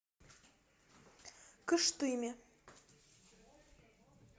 кыштыме